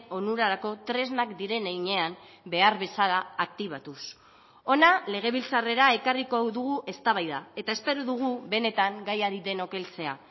onurarako tresnak diren heinean behar bezala aktibatuz hona legebiltzarrera ekarriko dugu eztabaida eta espero dugu benetan gaiari denok heltzea